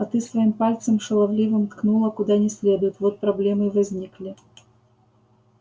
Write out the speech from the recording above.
а ты своим пальцем шаловливым ткнула куда не следует вот проблемы и возникли